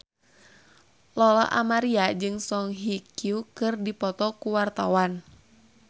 Lola Amaria jeung Song Hye Kyo keur dipoto ku wartawan